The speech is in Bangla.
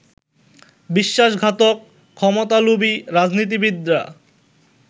বিশ্বাসঘাতক ক্ষমতালোভী রাজনীতিবিদরা